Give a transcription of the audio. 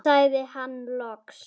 sagði hann loks.